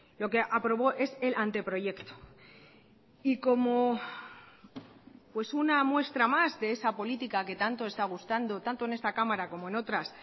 lo que aprobó es el anteproyecto y como pues una muestra más de esa política que tanto está gustando tanto en esta cámara como en otras